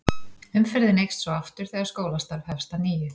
Umferðin eykst svo aftur þegar skólastarf hefst að nýju.